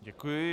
Děkuji.